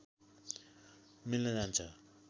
मिल्न जान्छ